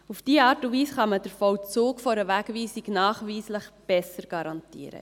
Auf diese Art und Weise kann man den Vollzug einer Wegweisung nachweislich besser garantieren.